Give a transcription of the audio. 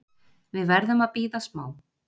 Við verðum að bíða smá.